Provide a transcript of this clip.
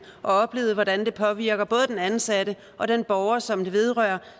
og oplevet hvordan det påvirker både den ansatte og den borger som det vedrører